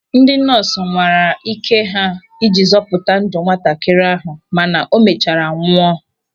Ndị nọọsụ nwara ị́ké ha iji zọpụta ndụ nwatakịrị ahụ mana o mechara nwụọ.